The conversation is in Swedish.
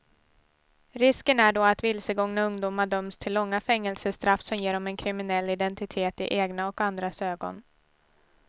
Risken är då att vilsegångna ungdomar döms till långa fängelsestraff som ger dem en kriminell identitet i egna och andras ögon.